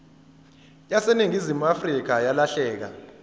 yaseningizimu afrika yalahleka